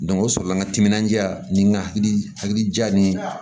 o sɔrɔla n ka timinandiya ni n ka hakilija ni